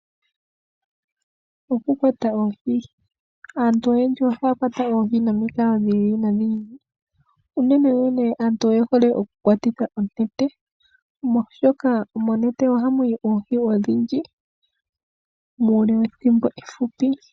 Oku kwata oohi, aantu oyendji ohaa kwata oohi yi ili noyi ili. Unene wo aantu oye hole oku kwata oohi noonete, oshoka monete oha mu yi oohi odhindji, muule wethimbo efupi.